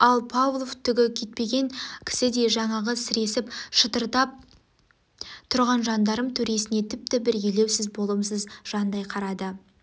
ал павлов түгі кетпеген кісідей жаңағы сіресіп шытырдап тұрған жандарм төресіне тіпті бір елеусіз болымсыз жандай қарады